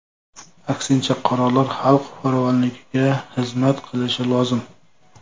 Aksincha, qarorlar xalq farovonligiga xizmat qilishi lozim.